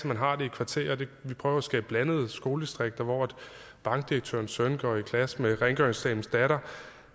man har det i kvarterer og vi prøver at skabe blandede skoledistrikter hvor bankdirektørens søn går i klasse med rengøringsdamens datter